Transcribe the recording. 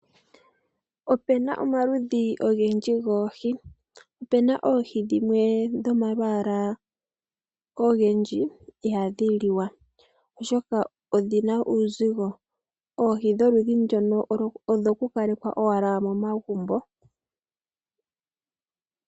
Opuna omaludhi ogendji goohi. Opuna oohi dhimwe dhomalwaala ogendji ihaadhi liwa oshoka odhina uuzigo. Oohi dholudhi ndoka odhoku kalekwa owala momagumbo.